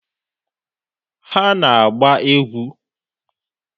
Ha ana-agba egwu?